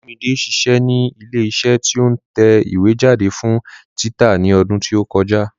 Olúmide ṣiṣẹ́ ní ilé iṣẹ́ tí ó ń tẹ ìwé jáde fún títa ní ọdún tí ó kọjá